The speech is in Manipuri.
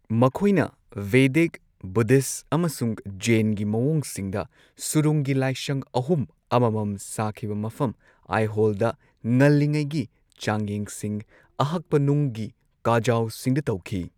ꯃꯈꯣꯏꯅ ꯚꯦꯗꯤ, ꯕꯨꯙꯤꯁꯠ ꯑꯃꯁꯨꯡ ꯖꯦꯟꯒꯤ ꯃꯑꯣꯡꯁꯤꯡꯗ ꯁꯨꯔꯨꯡꯒꯤ ꯂꯥꯏꯁꯪ ꯑꯍꯨꯝ ꯑꯃꯃꯝ ꯁꯥꯈꯤꯕ ꯃꯐꯝ ꯑꯥꯢꯍꯣꯜꯗ ꯉꯜꯂꯤꯉꯩꯒꯤ ꯆꯥꯡꯌꯦꯡꯁꯤꯡ ꯑꯍꯛꯄ ꯅꯨꯡꯒꯤ ꯀꯥꯖꯥꯎꯁꯤꯡꯗ ꯇꯧꯈꯤ꯫